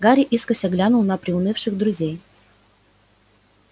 гарри искоса глянул на приунывших друзей